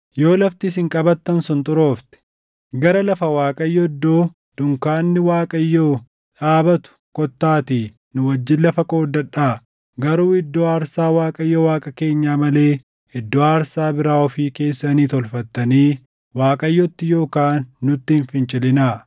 Yoo lafti isin qabattan sun xuroofte, gara lafa Waaqayyo iddoo dunkaanni Waaqayyoo dhaabatuu kottaatii nu wajjin lafa qoodadhaa. Garuu iddoo aarsaa Waaqayyo Waaqa keenyaa malee iddoo aarsaa biraa ofii keessanii tolfattanii Waaqayyotti yookaan nutti hin fincilinaa.